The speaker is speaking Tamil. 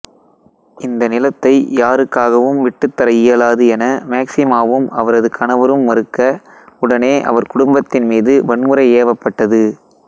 இந்த நிலத்தை யாருக்காகவும் விட்டுத்தர இயலாது என மேக்சிமாவும் அவரது கணவரும் மறுக்க உடனே அவர் குடும்பத்தின்மீது வன்முறை ஏவப்பட்டது